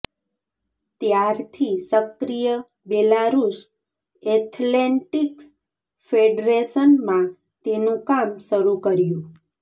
ત્યારથી સક્રિય Belarus athletics federation માં તેનું કામ શરૂ કર્યું